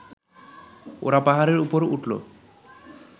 ওরা পাহাড়ের উপর উঠল